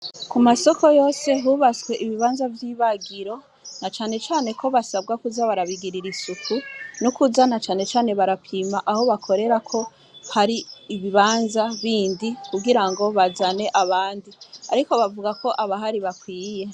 Ku masoko yose hubatswe ibibanza vy'ibagiro, na cane cane ko basabwa kuza barabigirira isuku, nokuza na cane cane barapima ko ibanza bindi kugirango bazane abandi, ariko bavuga ko abahari bakwiye.